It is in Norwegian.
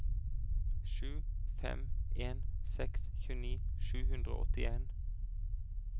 sju fem en seks tjueni sju hundre og åttien